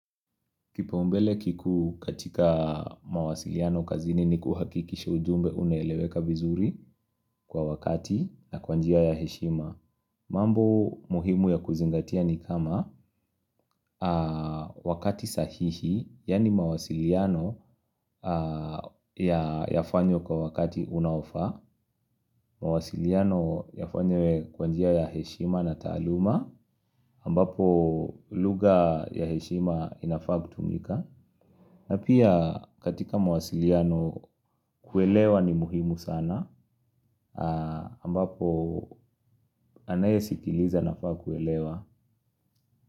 Kipaumbele kikuu katika mawasiliano kazini ni kuhakikisha ujumbe unaeleweka vizuri kwa wakati na kwa njia ya heshima. Mambo muhimu ya kuzingatia ni kama wakati sahihi, yani mawasiliano yafanywe kwa wakati unaofaa, mawasiliano yafanywe kwa njia ya heshima na taaluma, ambapo luga ya heshima inafaa kutumika. Na pia katika mawasiliano kuelewa ni muhimu sana ambapo anayesikiliza anafaa kuelewa.